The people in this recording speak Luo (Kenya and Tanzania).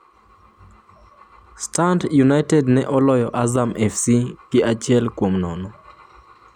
Stand United ne oloyo Azam FC gi achiel kuom nono.